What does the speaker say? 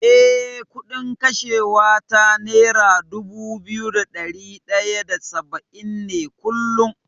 Eh, kuɗin kashewa ta nera dubu biyu da ɗari ɗaya da saba’in ne kullum.